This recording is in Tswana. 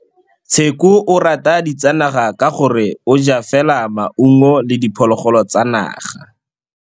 Tshekô o rata ditsanaga ka gore o ja fela maungo le diphologolo tsa naga.